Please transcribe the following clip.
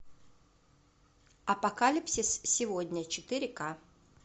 апокалипсис сегодня четыре ка